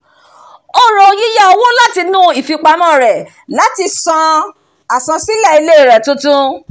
ó ro yíyá owó láti inú ìfipamọ́ rẹ̀ láti san àsansílẹ̀ ilé rẹ̀ tuntun